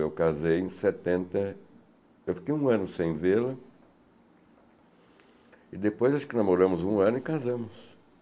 Eu casei em setenta... Eu fiquei um ano sem vê-la e depois acho que namoramos um ano e casamos.